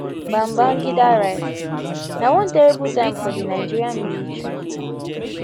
babangida write na one terrible time for di nigerian military